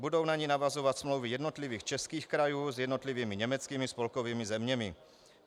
Budou na ni navazovat smlouvy jednotlivých českých krajů s jednotlivými německými spolkovými zeměmi.